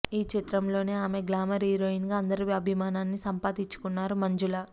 ఈ చిత్రంతోనే ఆమె గ్లామర్ హీరోయిన్గా అందరి అభిమానాన్ని సంపాదించుకున్నారు మంజుల